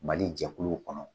Mali jɛkuluw kɔnɔ